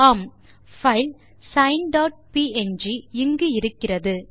ஆம் file sign dot PNG இங்கு இருக்கிறது